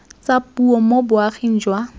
tsa puo mo boaging jwa